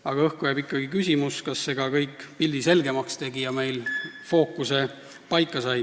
–, aga õhku jääb ikkagi küsimus, kas see kõik ka pildi selgemaks tegi ja fookus paika sai.